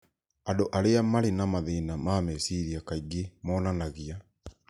Andũ arĩa marĩ na mathĩna ma meciria kaingĩ monanagia